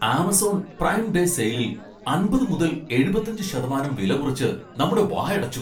Amazon prime day സെയിലിൽ അമ്പത് മുതൽ എഴുപത്തി അഞ്ച് ശതമാനം വില കുറച്ച് നമ്മടെ വായടച്ചു.